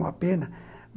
É uma pena.